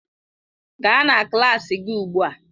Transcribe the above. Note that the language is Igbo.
Gaa na klas gị ugbu a!